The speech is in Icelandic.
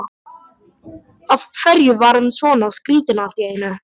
Af hverju var hann svona skrýtinn allt í einu?